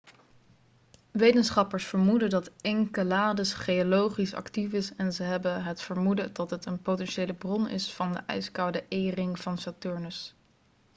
wetenschappers vermoeden dat enceladus geologisch actief is en ze hebben het vermoeden dat het een potentiële bron is van de ijskoude e-ring van saturnus